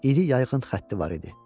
İri yayğın xətt idi var idi.